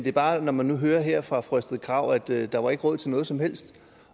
er bare når man nu hører her fra fru astrid krag at der ikke var råd til noget som helst